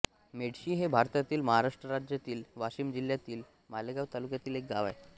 मेडशी हे भारतातील महाराष्ट्र राज्यातील वाशिम जिल्ह्यातील मालेगाव तालुक्यातील एक गाव आहे